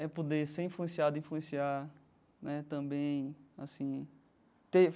é poder ser influenciado e influenciar né também assim ter.